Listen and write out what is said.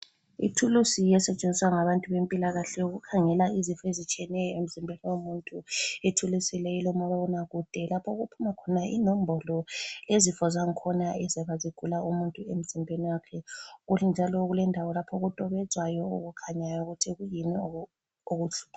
Ithulusi esetshenziswa ngabantu bempilakahle ukukhangela izifo ezitshiyeneyo emzimbeni womuntu. Ithulusi leyi ilomabonakude lapho okuphuma khona inombolo eyezifo zangkhona eziyabe zigula umuntu emzimbeni wakhe. Kuthi njalo kulendawo lapho okutobedzwayo okukhanyayo ukuthi kuyini okubuhlungu.